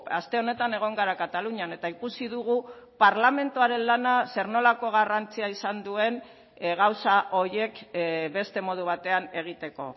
aste honetan egon gara katalunian eta ikusi dugu parlamentuaren lana zer nolako garrantzia izan duen gauza horiek beste modu batean egiteko